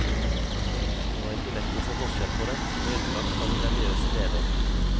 Det var ikke lett å se forskjell på dem, med unntak for de religiøse lederne.